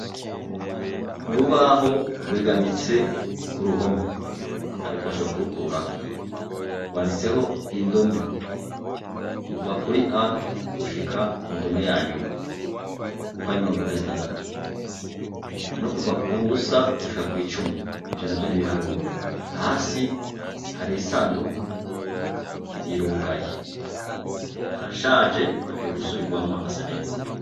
Urubaho rwegamitse ku ruhome; ariko bashobora kurukuraho, rwanditseho indome, kuva kuri a gushika ku ndome yanyuma, uko ari mirongo ibiri na zitandatu, no kuva ku busa gushika kw'icumi; ivyo navyo ni ibiharuro; hasi hari isandugu, irugaye, harashaje, hagiye gusubirwamwo hagasa neza.